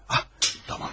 Ah, tamam.